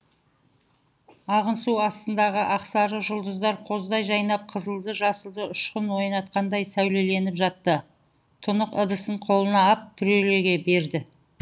ағын су астындағы ақсары жұлдыздар қоздай жайнап қызылды жасылды ұшқын ойнатқандай сәулеленіп жатты тұнық ыдысын қолына ап түрегеле берді